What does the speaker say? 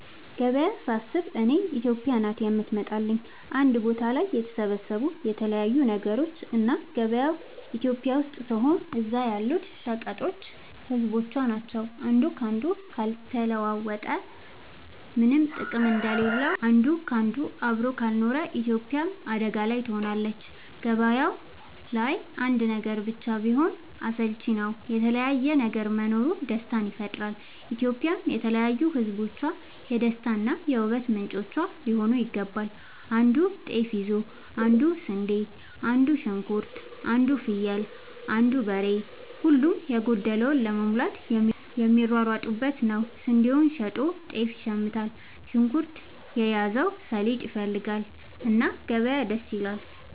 ገበያ ሳስብ እኔ ኢትዮጵያ ናት የምትመጣለኝ አንድ ቦታ ላይ የተሰባሰቡ የተለያዩ ነገሮች እና ገበያው ኢትዮጵያ ስትሆን እዛ ያሉት ሸቀጦች ህዝቦቿ ናቸው። አንዱ ካንዱ ካልተለዋወጠ ምነም ጥቅም እንደሌለው አንድ ካንዱ አብሮ ካልኖረ ኢትዮጵያም አደጋ ላይ ትሆናለች። ገባያው ላይ አንድ ነገር ብቻ ቢሆን አስልቺ ነው የተለያየ ነገር መኖሩ ደስታን ይፈጥራል። ኢትዮጵያም የተለያዩ ህዝቦቿ የደስታ እና የ ውበት ምንጯ ሊሆን ይገባል። አንዱ ጤፍ ይዞ አንዱ ስንዴ አንዱ ሽንኩርት አንዱ ፍየል አንዱ በሬ ሁሉም የጎደለውን ለመሙላት የሚሯሯጡበት ነው። ስንዴውን ሸጦ ጤፍ ይሽምታል። ሽንኩርት የያዘው ሰሊጥ ይፈልጋል። እና ገበያ ደስ ይላል።